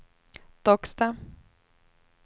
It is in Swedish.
Docksta